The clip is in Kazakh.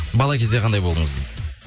бала кезде қандай болдыңыз дейді